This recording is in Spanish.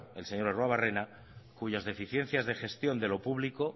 el señor arruebarrena cuyas deficiencias de gestión de lo público